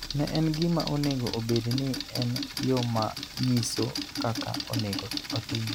Ne en gima onego obed ni en yo ma nyiso kaka onego otim.